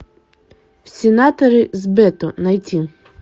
в сенаторы с бето найти